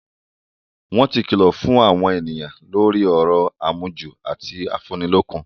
Wọ́n ti kìlọ̀ fún àwọn èèyàn lórí ọ̀rọ̀ àmujù ọtí afúnnilọ́kun